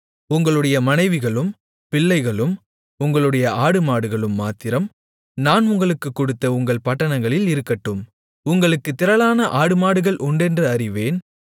உங்களுடைய மனைவிகளும் பிள்ளைகளும் உங்களுடைய ஆடுமாடுகளும் மாத்திரம் நான் உங்களுக்குக் கொடுத்த உங்கள் பட்டணங்களில் இருக்கட்டும் உங்களுக்குத் திரளான ஆடுமாடுகள் உண்டென்று அறிவேன்